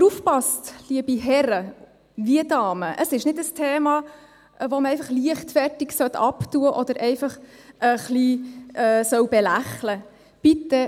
Aber aufgepasst, liebe Herren und Damen: Es ist nicht ein Thema, das man leichtfertig abtun oder ein wenig belächeln sollte.